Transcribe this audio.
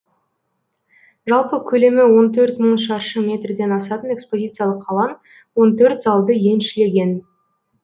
жалпы көлемі он төрт мың шаршы метрден асатын экспозициялық алаң он төрт залды еншілеген